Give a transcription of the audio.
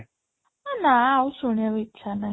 ଏ ନା ଆଉ ଶୁଣିବାକୁ ଇଛା ନାଇଁ